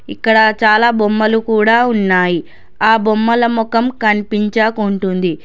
ఇక్కడ చాలా బొమ్మలు కూడా ఉన్నాయి ఆ బొమ్మల మొఖం కనిపించకుంటుంది.